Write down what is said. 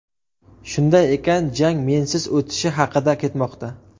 Shunday ekan jang mensiz o‘tishi haqida ketmoqda.